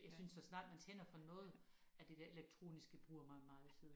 Jeg synes så snart man tænder for noget af det der elektroniske bruger man meget tid